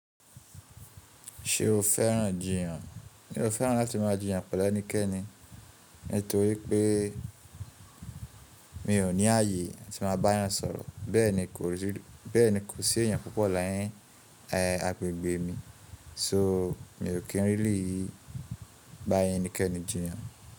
Ṣe o fẹ́ràn jiyan? N o fẹ́ràn láti máa jiyan pẹ̀lú ẹnikẹ́ni nítorí pé mi ò ní ààyè tí máa bá eeyan sọ̀rọ̀, bẹ́ẹ̀ ni kò sí èèyàn púpọ̀ ni agbègbè mi, so, mi ò kí n really bá ẹnikẹ́ni jiyan.